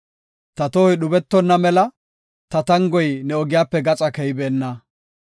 Ta tohoy dhubetonna mela, ta tangoy ne ogiyape gaxa keybeenna.